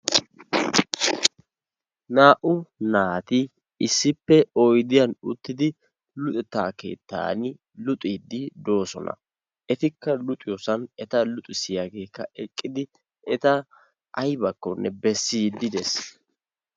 naa"u naati isssippe oydiyan utidi luxetaa keetan doosona. etakka luxxisiyagee luxeta keetan eqqidi eta aybakkonne besiidi de'ees.